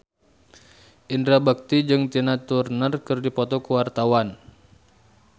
Indra Bekti jeung Tina Turner keur dipoto ku wartawan